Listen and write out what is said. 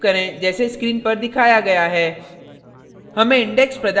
code का भाग type करें जैसे स्क्रीन पर दिखाया गया है